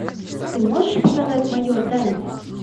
ты можешь показать майор данди